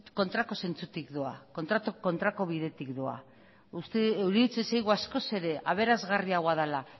kontrako zentzutik doa kontrako bidetik doa iruditzen zaigu askoz ere aberasgarriagoa dela